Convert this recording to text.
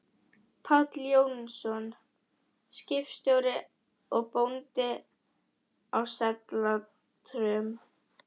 Páll Jónsson, skipstjóri og bóndi, á Sellátrum.